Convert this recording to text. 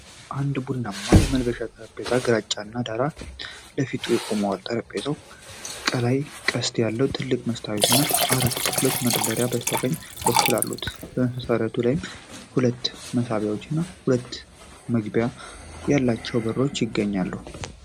አንድ ቡናማ የመልበሻ ጠረጴዛ ግራጫማ ዳራ ፊት ለፊት ቆሟል። ጠረጴዛው ከላይ ቅስት ያለው ትልቅ መስታወት እና አራት ክፍት መደርደሪያዎች በስተቀኝ በኩል አሉት። በመሠረቱ ላይ ደግሞ ሁለት መሳቢያዎች እና ሁለት መዝጊያ ያላቸው በሮች ይገኛሉ።